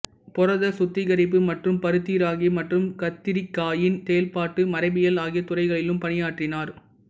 புரத சுத்திகரிப்பு மற்றும் பருத்தி ராகி மற்றும் கத்திரிக்காயின் செயல்பாட்டு மரபியல் ஆகிய துறைகளிலும் பணியாற்றினார்